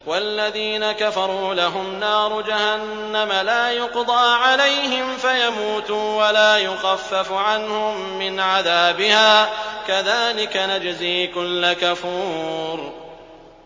وَالَّذِينَ كَفَرُوا لَهُمْ نَارُ جَهَنَّمَ لَا يُقْضَىٰ عَلَيْهِمْ فَيَمُوتُوا وَلَا يُخَفَّفُ عَنْهُم مِّنْ عَذَابِهَا ۚ كَذَٰلِكَ نَجْزِي كُلَّ كَفُورٍ